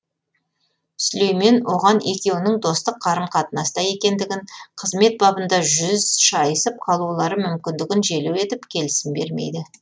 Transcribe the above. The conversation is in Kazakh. сүлеймен оған екеуінің достық қарым қатынаста екендігін қызмет бабында жүз шайысып қалулары мүмкіндігін желеу етіп келісім бермейді